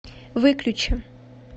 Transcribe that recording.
выключи